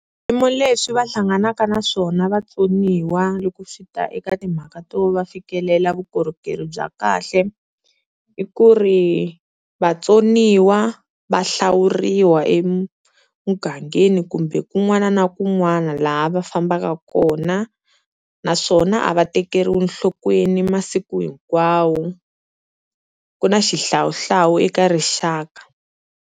Swiyimo leswi va hlanganaka na swona vatsoniwa loko swi ta eka timhaka to va fikelela vukorhokeri bya kahle, i ku ri vatsoniwa va hlawuriwa emugangeni kumbe kun'wana na kun'wana laha va fambaka kona naswona a va tekeriwi enhlokweni masiku hinkwawo ku na xihlawuhlawu eka rixaka.